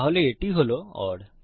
তাহলে এটি হল ওর